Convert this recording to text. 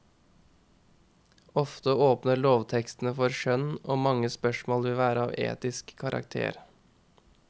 Ofte åpner lovtekstene for skjønn og mange spørsmål vil være av etisk karakter.